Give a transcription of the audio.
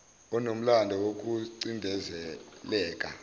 onomlando woku cindezeleka